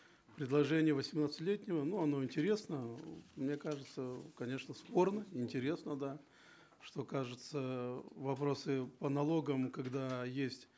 предложение восемнадцатилетнего ну оно интересно мне кажется э конечно спорно интересно да что кажется э вопросы по налогам когда есть